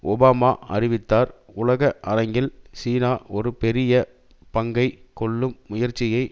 Obama அறிவித்தார் உலக அரங்கில் சீனா ஒரு பெரிய பங்கை கொள்ளும் முயற்சியை